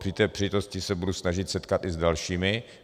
Při té příležitosti se budu snažit setkat i s dalšími.